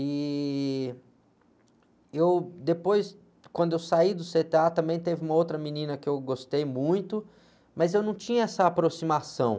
E, e eu, depois, quando eu saí do cê-tê-á, também teve uma outra menina que eu gostei muito, mas eu não tinha essa aproximação.